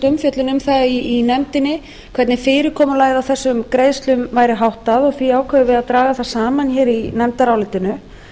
það í nefndinni hvernig fyrirkomulagi á þessum greiðslum væri háttað og því ákváðum við að draga það saman hér í nefndarálitinu